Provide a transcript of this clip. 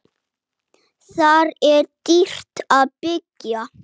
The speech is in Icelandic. Þar er dýrt að byggja.